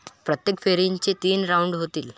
प्रत्येक फेरीचे तीन राऊंड होतील.